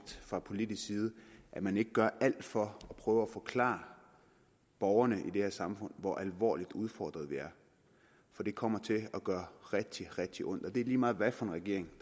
fra politisk side at man ikke gør alt for at prøve at forklare borgerne i det her samfund hvor alvorligt udfordret vi er for det kommer til at gøre rigtig rigtig ondt og det er lige meget hvilken regering